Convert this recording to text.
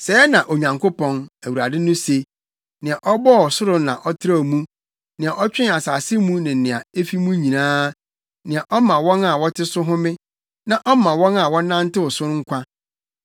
Sɛɛ na Onyankopɔn, Awurade no se, nea ɔbɔɔ ɔsoro na ɔtrɛw mu, nea ɔtwee asase mu ne nea efi mu nyinaa, nea ɔma wɔn a wɔte so home, na ɔma wɔn a wɔnantew so no nkwa: